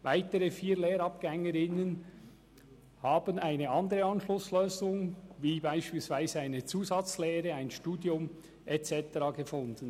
Weitere vier Lehrabgängerinnen haben eine andere Anschlusslösung, wie beispielsweise eine Zusatzlehre, ein Studium und so weiter angetreten.